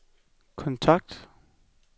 kontakt